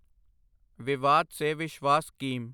ਵਿਵਾਦ ਸੇ ਵਿਸ਼ਵਾਸ ਸਕੀਮ